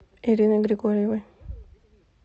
ирины григорьевой